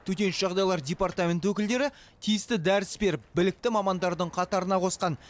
төтенше жағдайлар департаменті өкілдері тиісті дәріс беріп білікті мамандардың қатарына қосқан